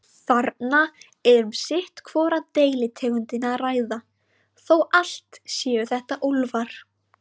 Þarna er um sitt hvora deilitegundina að ræða, þó allt séu þetta úlfar.